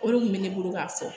O de kun bɛ ne bolo k'a fɔ